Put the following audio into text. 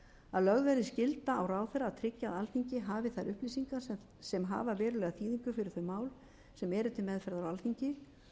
lögð verði skylda á ráðherra að tryggja að alþingi hafi þær upplýsingar sem hafa verulega þýðingu fyrir þau mál sem eru til meðferðar á alþingi